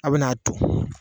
Aw bɛna aa ton.